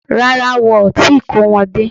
Rárá, wọn ò tíì kó wọn dé